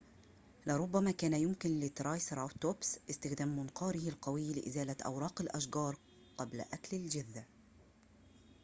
لربما كان يمكن للترايسراتوبس استخدام منقاره القوي لإزالة أوراق الأشجار قبل أكل الجذع